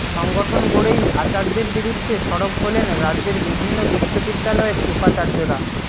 সংগঠন গড়েই আচার্যের বিরুদ্ধে সরব হলেন রাজ্যের বিভিন্ন বিশ্ববিদ্যালয়ের উপাচার্যরা